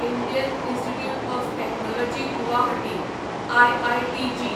Indian Institute of Technology Guwahati IITG